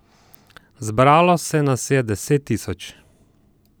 Zbralo se nas je deset tisoč!